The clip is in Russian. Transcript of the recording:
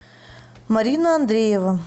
марина андреева